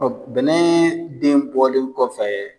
bɛnɛ den bɔlen kɔfɛ